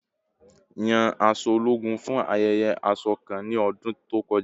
Yan aṣọ ologun fun ayẹyẹ aṣọ kan ni ọdun to kọja